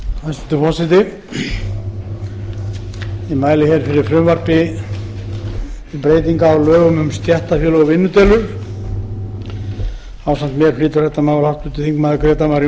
forseti ég mæli fyrir frumvarpi til laga um breytingu á lögum um stéttarfélög og vinnudeilur flutningsmaður auk mín er háttvirtur þingmaður grétar mar